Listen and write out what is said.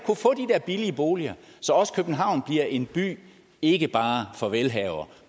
billige boliger så også københavn bliver en by ikke bare for velhavere